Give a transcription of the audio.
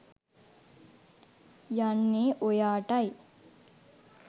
යන්නේ ඔයාටයි.